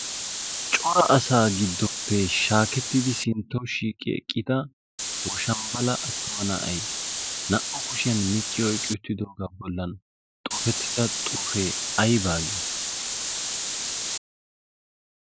cora asaa giddoppe shaakettidi sintto shiiqi eqqita woshambbala attuma na'ay naa'u kushiyan micciyo iqiuttidoogaa bollan xuufettida xuufee ay baagii?